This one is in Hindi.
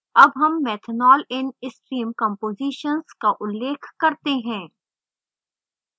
अब हम methanol in stream कम्पोज़ीशन्स का उल्लेख करते हैं